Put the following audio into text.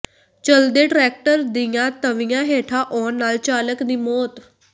ਚੱਲਦੇ ਟਰੈਕਟਰ ਦੀਆਂ ਤਵੀਆਂ ਹੇਠਾਂ ਆਉਣ ਨਾਲ ਚਾਲਕ ਦੀ ਮੌਤ